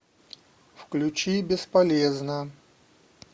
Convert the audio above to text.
включи бесполезно